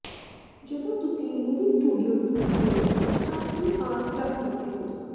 ਜਦੋਂ ਤੁਸੀਂ movie studio tour ਕਰੋ ਤਾਂ ਕੀ ਆਸ ਰੱਖ ਸਕਦੇ ਹੋ